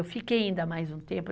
Eu fiquei ainda mais um tempo.